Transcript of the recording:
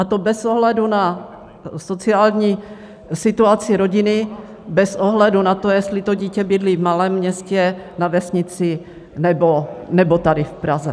A to bez ohledu na sociální situaci rodiny, bez ohledu na to, jestli to dítě bydlí v malém městě, na vesnici nebo tady v Praze.